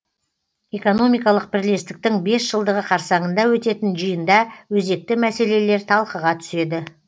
экономикалық бірлестіктің бес жылдығы қарсаңында өтетін жиында өзекті мәселелер талқыға түседі